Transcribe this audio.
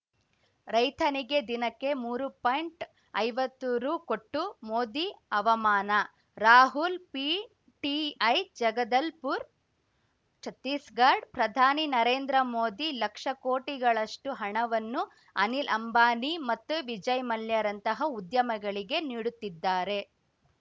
ರೈತನಿಗೆ ದಿನಕ್ಕೆ ಮೂರು ಪಾಯಿಂಟ್ಐವತ್ತು ರು ಕೊಟ್ಟು ಮೋದಿ ಅವಮಾನ ರಾಹುಲ್‌ ಪಿಟಿಐ ಜಗದಲ್‌ಪುರ್ ಛತ್ತೀಸ್‌ಗಡ್ ಪ್ರಧಾನಿ ನರೇಂದ್ರ ಮೋದಿ ಲಕ್ಷ ಕೋಟಿಗಳಷ್ಟುಹಣವನ್ನು ಅನಿಲ್‌ ಅಂಬಾನಿ ಮತ್ತು ವಿಜಯ್‌ ಮಲ್ಯರಂತಹ ಉದ್ಯಮಿಗಳಿಗೆ ನೀಡುತ್ತಿದ್ದಾರೆ